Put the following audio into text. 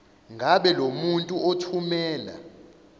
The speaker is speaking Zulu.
ngabe lomuntu othumela